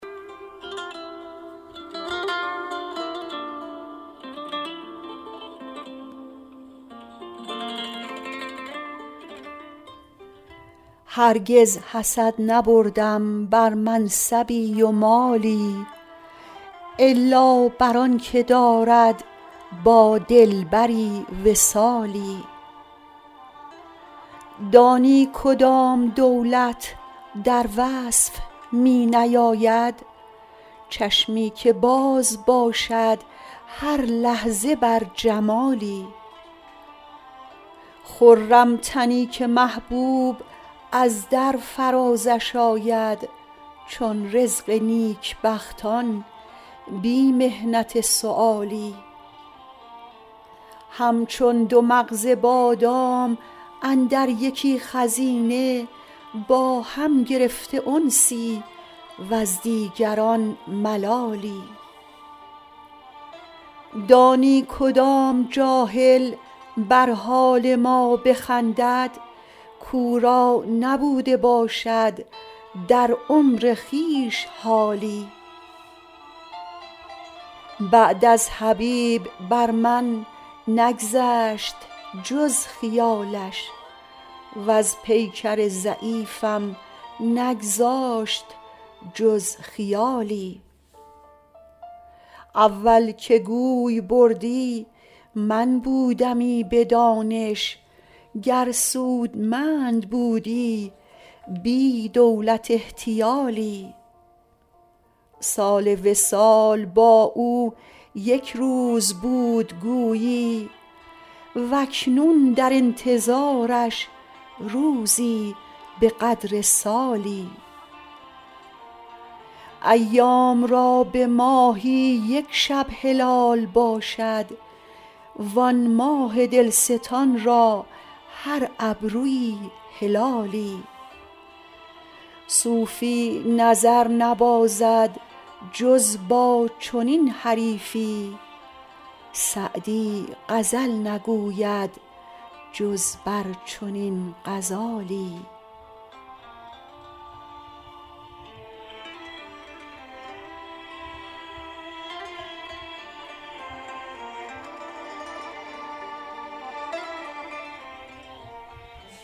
هرگز حسد نبردم بر منصبی و مالی الا بر آن که دارد با دلبری وصالی دانی کدام دولت در وصف می نیاید چشمی که باز باشد هر لحظه بر جمالی خرم تنی که محبوب از در فرازش آید چون رزق نیکبختان بی محنت سؤالی همچون دو مغز بادام اندر یکی خزینه با هم گرفته انسی وز دیگران ملالی دانی کدام جاهل بر حال ما بخندد کاو را نبوده باشد در عمر خویش حالی بعد از حبیب بر من نگذشت جز خیالش وز پیکر ضعیفم نگذاشت جز خیالی اول که گوی بردی من بودمی به دانش گر سودمند بودی بی دولت احتیالی سال وصال با او یک روز بود گویی و اکنون در انتظارش روزی به قدر سالی ایام را به ماهی یک شب هلال باشد وآن ماه دلستان را هر ابرویی هلالی صوفی نظر نبازد جز با چنین حریفی سعدی غزل نگوید جز بر چنین غزالی